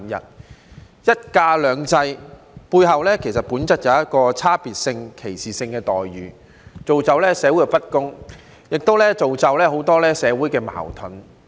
在"一假兩制"背後，本質上就存在差別性及歧視性的待遇，造成社會不公，亦造成很多社會矛盾。